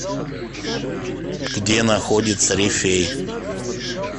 где находится рифей